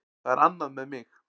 Það er annað með mig.